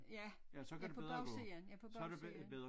Ja ja på bagsiden ja på bagsiden